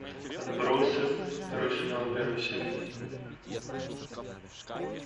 отбросы второй сезон первая серия